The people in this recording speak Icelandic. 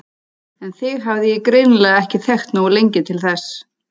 En þig hafði ég greinilega ekki þekkt nógu lengi til þess.